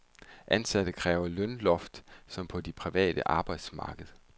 Ansatte kræver lønløft som på det private arbejdsmarked.